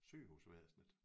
Sygehusvæsnet